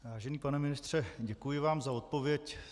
Vážený pane ministře, děkuji vám za odpověď.